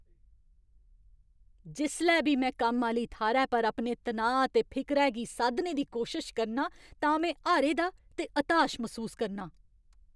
जिसलै बी में कम्म आह्‌ली थाह्‌रै पर अपने तनाऽ ते फिकरै गी साद्धने दी कोशश करनां तां में हारे दा ते हताश मसूस करनां।